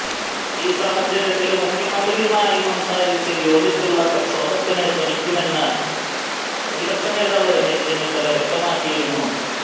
ഈ സാഹചര്യത്തില് മുഖ്യമന്ത്രിയുമായി സംസാരിച്ച് യോജിച്ചുള്ള പ്രക്ഷോഭത്തിന് ശ്രമിക്കുമെന്ന് പ്രതിപക്ഷ നേതാവ് രമേശ് ചെന്നിത്തല വ്യക്തമാക്കിയിരുന്നു